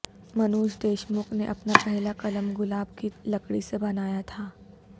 منوج دیشمکھ نے اپنا پہلا قلم گلاب کی لکڑی سے بنایا تھا